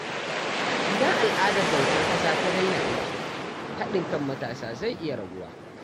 Idan al’adar bautar ƙasa ta daina aiki, haɗin kan matasa zai iya raguwa.